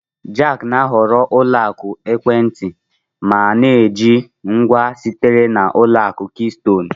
Jack na-ahọrọ ụlọ akụ ekwentị ma na-eji ngwa sitere na Ụlọ akụ Keystone